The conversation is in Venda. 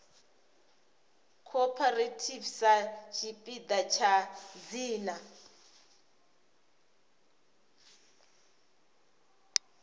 cooperative sa tshipiḓa tsha dzina